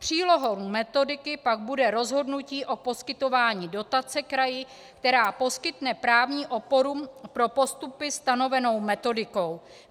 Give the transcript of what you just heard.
Přílohou metodiky pak bude rozhodnutí o poskytování dotace kraji, která poskytne právní oporu pro postupy stanovenou metodikou.